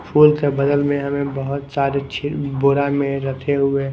फूल के बगल में हमें बहुत सारे बोड़ा में रखे हुए- --